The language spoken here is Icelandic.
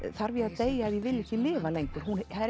þarf ég að deyja ef ég vil ekki lifa lengur